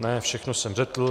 Ne, všechno jsem řekl.